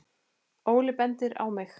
Óli bendir á mig